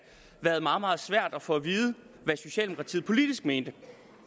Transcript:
været meget meget svært at få at vide hvad socialdemokratiet politisk mente